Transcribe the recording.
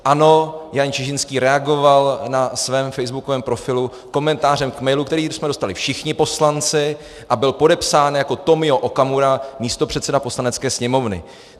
Ano, Jan Čižinský reagoval na svém facebookovém profilu komentářem k mailu, který jsme dostali všichni poslanci a byl podepsán jako Tomio Okamura, místopředseda Poslanecké sněmovny.